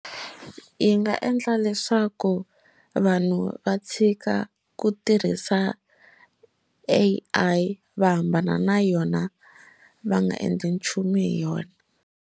Yi nga endla leswaku vanhu va tshika ku tirhisa A_I va hambana na yona va nga endli nchumu hi yona.